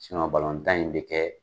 balɔntan in be kɛ